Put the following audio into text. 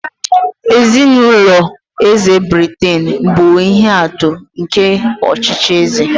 Ezinụlọ eze Britain bụ ihe atụ nke ọchịchị eze.